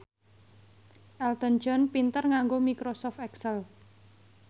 Elton John pinter nganggo microsoft excel